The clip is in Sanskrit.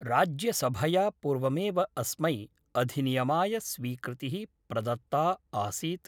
राज्यसभया पूर्वमेव अस्मै अधिनियमाय स्वीकृतिः प्रदत्ता आसीत्।